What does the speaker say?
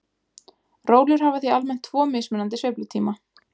Rólur hafa því almennt tvo mismunandi sveiflutíma.